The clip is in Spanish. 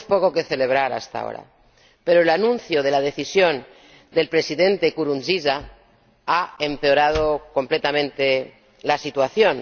Tenemos poco que celebrar hasta ahora, pero el anuncio de la decisión del Presidente Nkurunziza ha empeorado completamente la situación.